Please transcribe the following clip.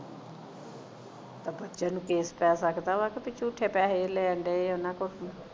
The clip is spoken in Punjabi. ਆ ਦੂਜੇ ਨੂੰ case ਪੈ ਸਕਦਾ ਵਾ ਕੇ ਝੂਠੇ ਪੈਸੇ ਲੈਣ ਲਈ ਆ ਉਨ੍ਹਾਂ ਕੋਲੋਂ